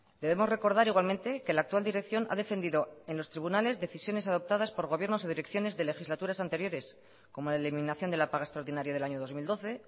debemos recordar igualmente que la actual dirección ha defendido en los tribunales decisiones adoptadas por gobiernos y direcciones de legislaturas anteriores como la eliminación de la paga extraordinaria del año dos mil doce